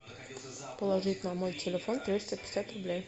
положить на мой телефон триста пятьдесят рублей